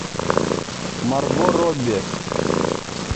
марго робби